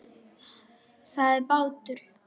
Það er bátur.